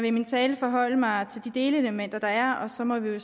i min tale forholde mig til de delelementer der er og så må vi